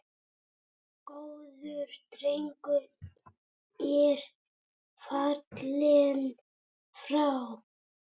Góður drengur er fallinn frá.